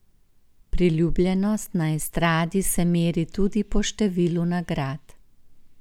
Priljubljenost na estradi se meri tudi po številu nagrad.